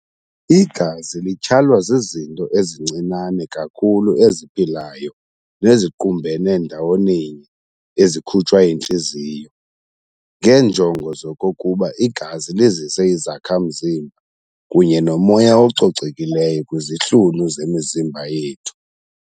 Igazi lityhalwa zizinto ezincinane kakhulu eziphilayo neziqumbene ndawoninye ezikhutshwa yintliziyo, ngeenjongo zokokuba igazi lizise izakha-mzimba kunye nomoya ococekileyo kwizihlunu zemizimba yethu.